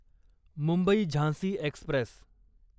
Mumbai Jhansi Express